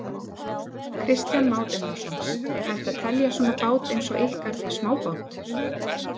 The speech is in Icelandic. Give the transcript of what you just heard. Kristján Már Unnarsson: Er hægt að telja svona bát eins og ykkar smábát?